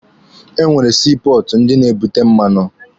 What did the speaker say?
E nwere sii pọọtụ ndị na-ebute mmanụ.